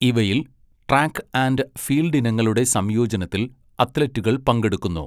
ഇവയിൽ, track and field ഇനങ്ങളുടെ സംയോജനത്തിൽ അത്ലറ്റുകൾ പങ്കെടുക്കുന്നു.